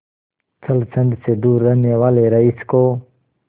छल छंद से दूर रहने वाले रईस को